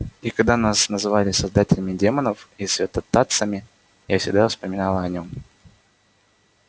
и когда нас называли создателями демонов и святотатцами я всегда вспоминала о нём